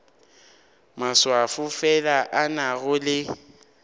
maswafo fela a nago le